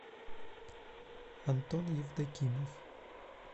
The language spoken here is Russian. антон евдокимов